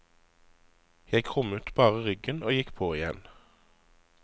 Jeg krummet bare ryggen og gikk på igjen.